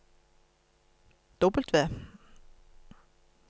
W